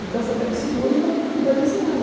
Então você pega e segura e va vai desenhando.